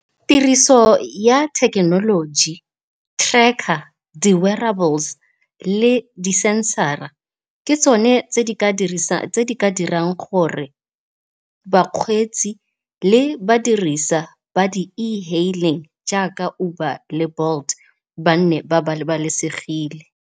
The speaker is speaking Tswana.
Tiriso ya thekenoloji, tracker, le di-senser-a ke tsone tse di ka dirang gore bakgweetsi le badirisa ba di-e-hailing jaaka Uber le Bolt ba nne ba babalesegile.